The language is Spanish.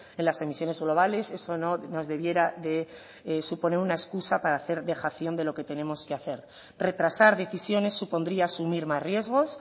en las emisiones globales eso no nos debiera de suponer una excusa para hacer dejación de lo que tenemos que hacer retrasar decisiones supondría asumir más riesgos